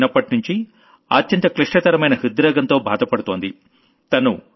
తను చిన్నప్పట్నుంచీ అత్యంత క్లిష్టతరమైన హృద్రోగంతో బాధపడుతోంది